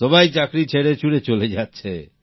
সবাই চাকরি ছেড়েছুড়ে চলে যাচ্ছে